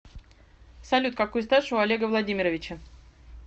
салют какой стаж у олега владимировича